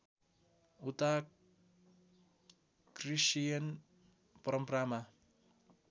उता क्रिश्चियन परम्परामा